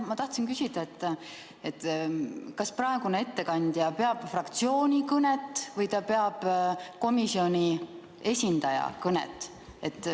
Ma tahtsin küsida, et kas ettekandja peab fraktsiooni kõnet või peab ta komisjoni esindaja kõnet.